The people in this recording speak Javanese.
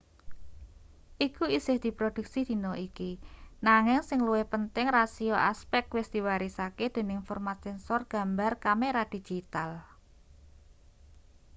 iku isih diprodhuksi dina iki nanging sing luwih penting rasio aspek wis diwarisake dening format sensor gambar kamera digital